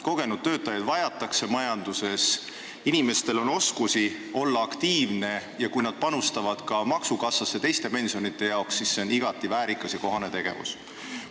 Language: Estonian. Kogenud töötajaid vajatakse majanduses, inimestel on oskusi olla aktiivne ja kui nad panustavad ka maksukassasse teiste pensionide jaoks, siis on see igati väärikas ja kohane tegevus.